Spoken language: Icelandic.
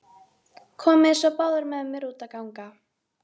Komiði svo báðar með mér út að ganga.